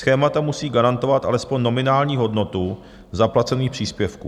Schémata musí garantovat alespoň nominální hodnotu zaplacených příspěvků.